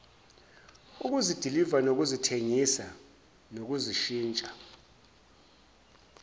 ukuzidiliva nokuzithengisa nokuzishintsha